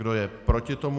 Kdo je proti tomu?